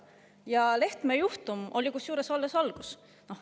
Ja Lehtme juhtum oli alles algus.